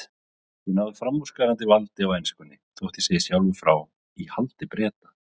Ég náði framúrskarandi valdi á enskunni- þótt ég segi sjálfur frá- í haldi Breta.